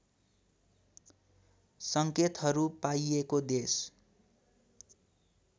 सङ्केतहरू पाइएको देश